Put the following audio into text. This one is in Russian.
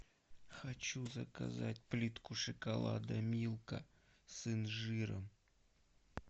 хочу заказать плитку шоколада милка с инжиром